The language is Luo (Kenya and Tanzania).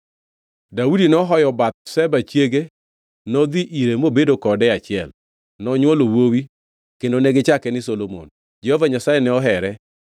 Daudi nohoyo Bathsheba chiege, nodhi ire mobedo kode e achiel. Nonywolo wuowi kendo negichake ni Solomon. Jehova Nyasaye ne ohere;